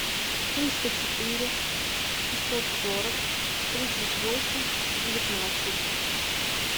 триста четыре шестьсот сорок тридцать восемь девятнадцать